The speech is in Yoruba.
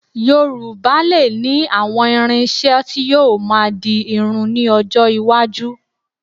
Yorùbá lè ní àwọn irin-iṣẹ́ tí yóò máa di irun ní ọjọ́ iwájú